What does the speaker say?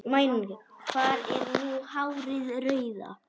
Hvar er nú hárið rauða?